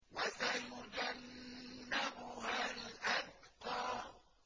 وَسَيُجَنَّبُهَا الْأَتْقَى